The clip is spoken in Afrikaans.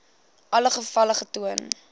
alle gevalle getoon